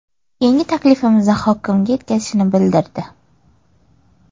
Keyin taklifimizni hokimiga yetkazishini bildirdi.